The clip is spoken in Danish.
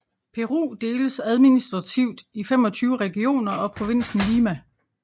Peru deles administrativt i 25 regioner og provinsen Lima